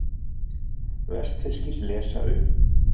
Vestfirskir lesa upp